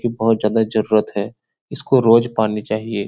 इ बहुत ज्यादा जरुरत है इसको रोज पानी चाहिए।